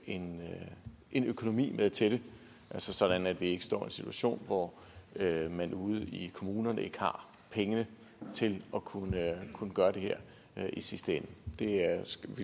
en en økonomi med til det sådan at vi ikke står i en situation hvor man ude i kommunerne ikke har pengene til at kunne gøre det her i sidste ende